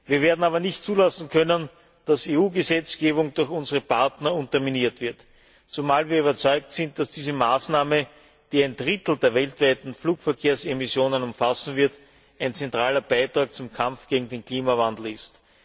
Wir werden aber nicht zulassen können, dass EU Gesetzgebung durch unsere Partner unterminiert wird, zumal wir überzeugt sind, dass diese Maßnahme, die ein Drittel der weltweiten Flugverkehrsemissionen umfassen wird, ein zentraler Beitrag zum Kampf gegen den Klimawandel ist.